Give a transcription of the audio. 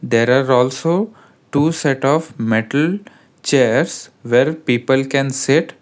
there are also two set of metalled chairs where people can sit.